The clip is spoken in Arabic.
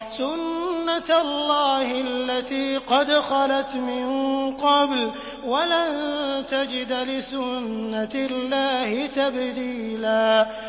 سُنَّةَ اللَّهِ الَّتِي قَدْ خَلَتْ مِن قَبْلُ ۖ وَلَن تَجِدَ لِسُنَّةِ اللَّهِ تَبْدِيلًا